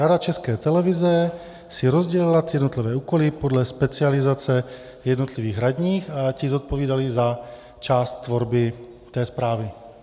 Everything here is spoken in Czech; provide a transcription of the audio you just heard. Rada České televize si rozdělila ty jednotlivé úkoly podle specializace jednotlivých radních a ti zodpovídali za část tvorby té zprávy.